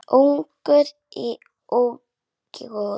Ungur í útgerð